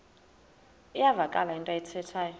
iyavakala into ayithethayo